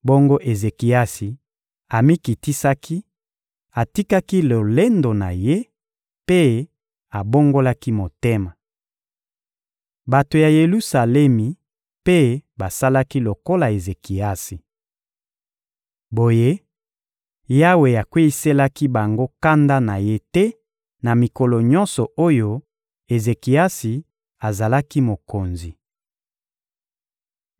Bongo Ezekiasi amikitisaki, atikaki lolendo na ye mpe abongolaki motema. Bato ya Yelusalemi mpe basalaki lokola Ezekiasi. Boye, Yawe akweyiselaki bango kanda na Ye te na mikolo nyonso oyo Ezekiasi azalaki mokonzi.